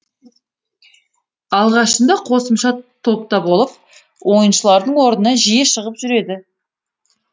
алғашында қосымша топта болып ойыншылардың орнына жиі шығып жүреді